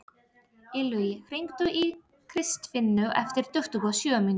Illugi, hringdu í Kristfinnu eftir tuttugu og sjö mínútur.